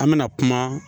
An mɛna kuma